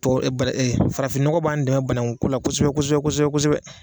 Farafinɔgɔ b'an dɛmɛ banagunko la kosɛbɛ kosɛbɛ kosɛbɛ.